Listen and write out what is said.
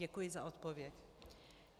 Děkuji za odpověď.